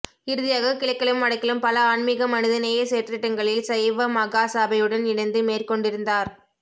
இறுதியாக கிழக்கிலும் வடக்கிலும் பல ஆன்மீக மனிதநேய செயற்றிட்டங்களில் சைவ மகா சபையுடன் இணைந்து மேற்கொண்டிருந்தார்